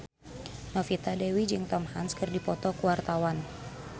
Novita Dewi jeung Tom Hanks keur dipoto ku wartawan